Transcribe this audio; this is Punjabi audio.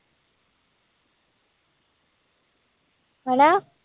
ਹਨਾ